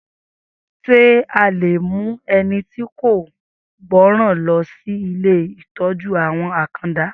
Sé a le mú ẹni tí kò gbọ́ran lọ si ilé ìtọ́jú-àwọn akanda.